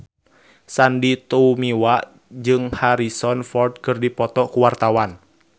Sandy Tumiwa jeung Harrison Ford keur dipoto ku wartawan